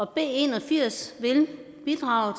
b en og firs vil bidrage